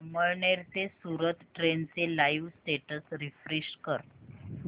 अमळनेर ते सूरत ट्रेन चे live status refresh कर